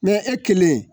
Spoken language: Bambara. e kelen